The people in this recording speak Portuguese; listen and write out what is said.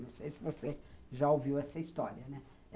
Não sei se você já ouviu essa história, né?